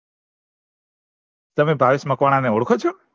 તમે ભાવેશ મકવાણા ને ઓળખો છો